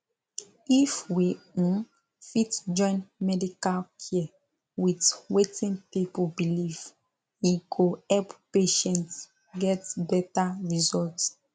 if we um fit join medical care with wetin people believe e go help patients get better result